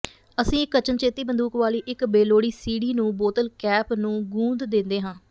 ਅਸੀਂ ਇੱਕ ਅਚਨਚੇਤੀ ਬੰਦੂਕ ਵਾਲੀ ਇੱਕ ਬੇਲੋੜੀ ਸੀਡੀ ਨੂੰ ਬੋਤਲ ਕੈਪ ਨੂੰ ਗੂੰਦ ਦੇਂਦੇ ਹਾਂ